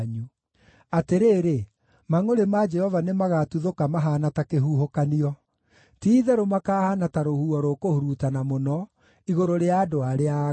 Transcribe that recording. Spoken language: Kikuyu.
Atĩrĩrĩ, mangʼũrĩ ma Jehova nĩmagatuthũka mahaana ta kĩhuhũkanio; ti-itherũ makaahaana ta rũhuho rũkũhurutana mũno, igũrũ rĩa andũ arĩa aaganu.